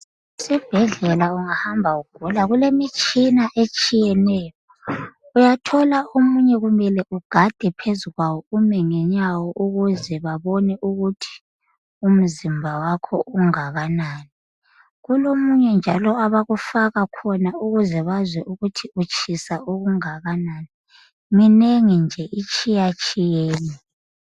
Esibhedlela kulemitshina etshiyeneyo uyathola omunye umile ufike ugade phezu kwawo ukuze ubone ukuthi umzimba wakho unganani ,kulomunye abakufaka wona ukuze bebone ukuthi utshisa okunganani ,minengi nje itshiyetshiyene.